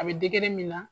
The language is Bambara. A bɛ min na